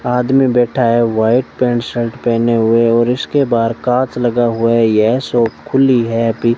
आदमी बैठा है व्हाइट पैंट शर्ट पहने हुए और इसके बाहर कांच लगा हुआ है यह शॉप खुली है अभी --